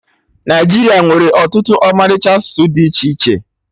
Naịjiria nwere ọtụtụ ọmalịcha asụsụ dị iche iche